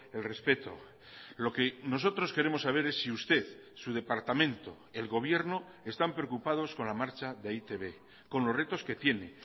el respeto lo que nosotros queremos saber es si usted su departamento el gobierno están preocupados con la marcha de e i te be con los retos que tiene